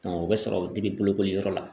o bɛ sɔrɔ bolokoli yɔrɔ la.